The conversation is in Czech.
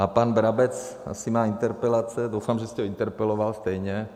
A pan Brabec asi má interpelace, doufám, že jste ho interpeloval stejně.